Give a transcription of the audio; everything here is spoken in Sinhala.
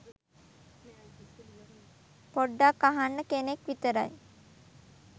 පොඞ්ඩක් අහන්න කෙනෙක් විතරයි.